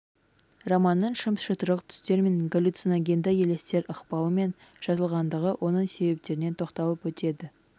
романның шым-шытырық түстер мен галлюциногенді елестер ықпалымен жазылғандығы оның себептеріне тоқталып өтеді